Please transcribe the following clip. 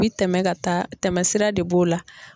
bi tɛmɛ ka taa tɛmɛsira de b'o la.